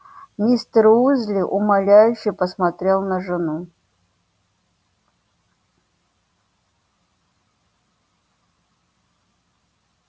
мистер уизли умоляюще посмотрел на жену